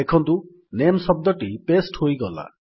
ଦେଖନ୍ତୁ ନାମେ ଶବ୍ଦଟି ପାସ୍ତେ ହୋଇଗଲା